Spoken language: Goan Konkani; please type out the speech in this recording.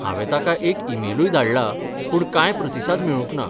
हांवें तांका एक ईमेलूय धाडलां पूण कांय प्रतिसाद मेळूंक ना.